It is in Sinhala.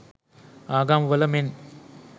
ආගම් වල මෙන්